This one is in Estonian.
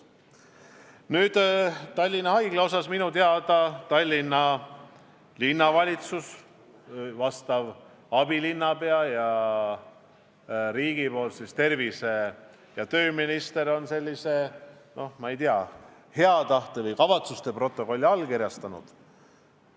Mis puutub Tallinna Haiglasse, siis minu teada on Tallinna Linnavalitsus, vastav abilinnapea ja riigi nimel tervise- ja tööminister hea tahte või kavatsuste protokolli allkirjastanud.